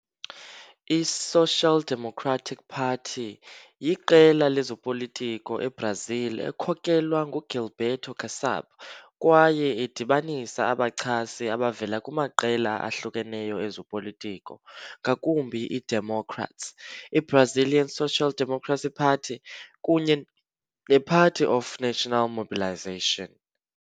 I-Social Democratic Party yiqela lezopolitiko eBrazil ekhokelwa nguGilberto Kassab kwaye idibanisa abachasi abavela kumaqela ahlukeneyo ezopolitiko, ngakumbi iDemocrats, i-Brazilian Social Democracy Party kunye ne-Party of National Mobilization.